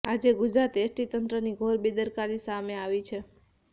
આજે ગુજરાત એસટી તંત્રની ઘોર બેદરકારી સામે આવી છે